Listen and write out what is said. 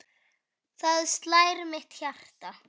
Þar slær mitt hjarta.